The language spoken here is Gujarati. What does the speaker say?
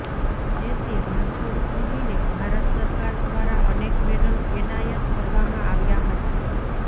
જેથી રણછોડ પગીને ભારત સરકાર દ્વારા અનેક મેડલ એનાયત કરવામાં આવ્યા હતા